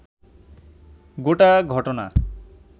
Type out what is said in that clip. গোটা ঘটনা